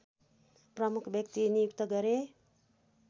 प्रमुख व्यक्ति नियुक्त गरे